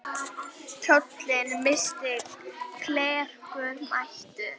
Kjólinn missti klerkur mæddur.